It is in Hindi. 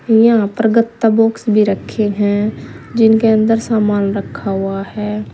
यहां पर गत्ता बॉक्स भी रखे हैं जिनके अंदर सामान रखा हुआ है।